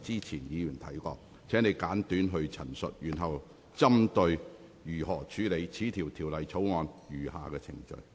請你現在針對如何處理《條例草案》的餘下程序發言。